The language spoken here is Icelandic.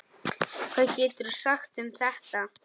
Hvað geturðu sagt um þetta?